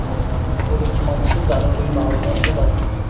bu imtihon uchun zaruriy ma’lumot emas.